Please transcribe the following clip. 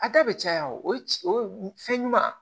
A da bɛ caya o fɛn ɲuman